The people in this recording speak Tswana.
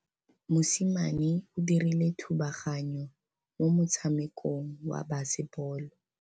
Mosimane o dirile thubaganyô mo motshamekong wa basebôlô.